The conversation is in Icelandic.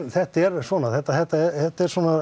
þetta er svona þetta þetta þetta er svona